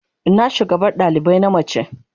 Ina shugabar dalibai na mace?